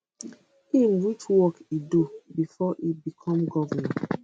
im which work e do before e become govnor